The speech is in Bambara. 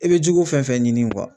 I bɛ jugu fɛn fɛn ɲini